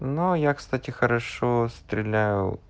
но я кстати хорошо стреляю